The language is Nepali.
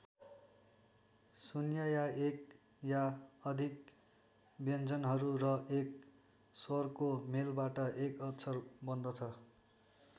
शून्य या एक या अधिक व्यञ्जनहरू र एक स्वरको मेलबाट एक अक्षर बन्दछ।